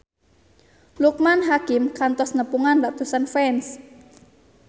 Loekman Hakim kantos nepungan ratusan fans